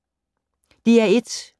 DR1